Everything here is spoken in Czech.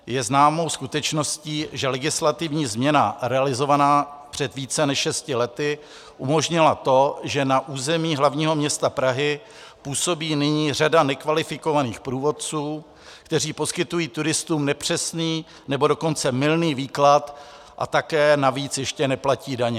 Je známou skutečností, že legislativní změna realizovaná před více než šesti lety umožnila to, že na území hlavního města Prahy působí nyní řada nekvalifikovaných průvodců, kteří poskytují turistům nepřesný, nebo dokonce mylný výklad, a tak navíc ještě neplatí daně.